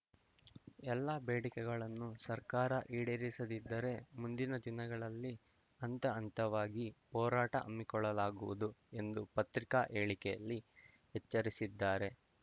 ಎಲ್ಲಾ ಬೇಡಿಕೆಗಳನ್ನು ಸರ್ಕಾರ ಈಡೇರಿಸದಿದ್ದರೇ ಮುಂದಿನ ದಿನಗಳಲ್ಲಿ ಹಂತ ಹಂತವಾಗಿ ಹೋರಾಟ ಹಮ್ಮಿಕೊಳ್ಳಲಾಗುವುದು ಎಂದು ಪತ್ರಿಕಾ ಹೇಳಿಕೆಯಲ್ಲಿ ಎಚ್ಚರಿಸಿದ್ದಾರೆ